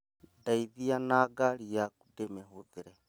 Ndeithia na ngari yaku ndĩmĩhũthĩre